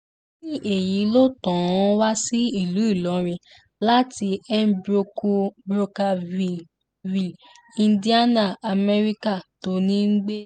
lẹ́yìn èyí ló tàn án wá sí ìlú ìlọrin láti mbrokerville indiana amẹ́ríkà tó ń gbé